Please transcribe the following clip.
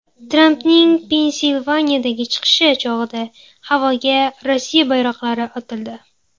Trampning Pensilvaniyadagi chiqishi chog‘ida havoga Rossiya bayroqlari otildi.